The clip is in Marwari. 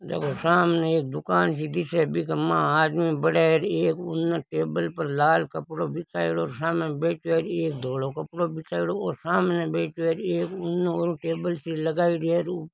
देखो सामने एक दुकान सी दिसे बीके मा आदमी भड़े हेर एक उन टेबल पर लाल कपड़ो बिछायोडो सामे बैठयो है एक धोलो कपड़ो बिछायोडो और सामे बैठयो है एक उन और टेबल सी लगायोडी है।